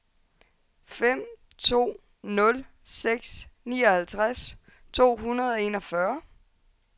fem to nul seks nioghalvtreds to hundrede og enogfyrre